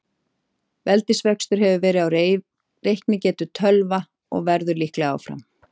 Veldisvöxtur hefur verið á reiknigetu tölva og verður líklega áfram.